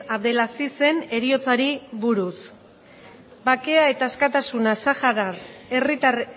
abdelazizen heriotzari buruz bakea eta askatasuna saharar